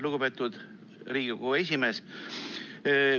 Lugupeetud Riigikogu esimees!